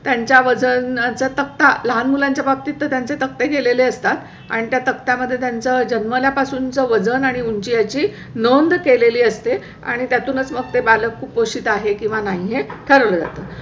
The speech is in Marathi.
त्यांच्या वजनाचा तक्ता लहान मुलांच्या बाबतीत त्यांचे तक्ते केलेले असतात आणि त्या तक्त्या मध्ये त्यांचा जन्मला पासून च वजन आणि उंची याची नोंद केलेली असते आणि त्यातूनच मग ते बालक कुपोषित आहे किंवा नाही हे ठरवलं जातं.